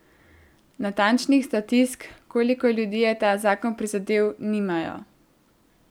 Natančnih statistik, koliko ljudi je ta zakon prizadel, nimajo.